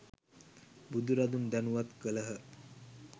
බුදුරදුන් දැනුවත් කළහ